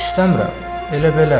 İstəmirəm, elə belə.